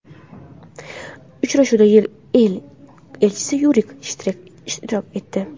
Uchrashuvda YeI Elchisi Yuriy Shterk ishtirok etdi.